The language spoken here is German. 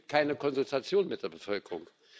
Es gibt keine Konsultation mit der Bevölkerung.